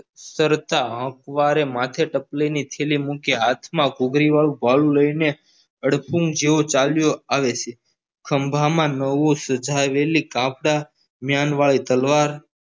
કરતા હંકવારે માથે ટપલી ની થેલી મૂકી હાથમાં ઘૂઘરી વાળુ ભાલુ લઈને અડકુમ જેવો ચાલ્યો આવે છે ખંભામાં નવી સજાવેલી જ્ઞાન વાળી તલવાર